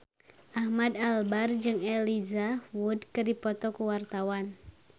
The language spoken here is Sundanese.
Ahmad Albar jeung Elijah Wood keur dipoto ku wartawan